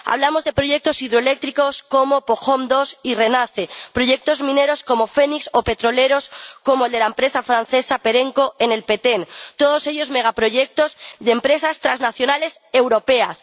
Hablamos de proyectos hidroeléctricos como Pojón II y Renace, proyectos mineros como Fénix o petroleros como el de la empresa francesa Perenco en El Petén, todos ellos megaproyectos de empresas transnacionales europeas.